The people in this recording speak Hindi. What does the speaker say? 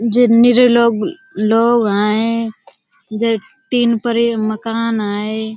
जे निरे लोग लोग हैं। जे टीन पर ये मकान हैं।